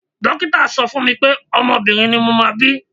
Dókítà sọ fún mi pé ọmọ obìnrin ni mo máa bí.